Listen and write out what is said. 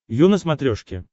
ю на смотрешке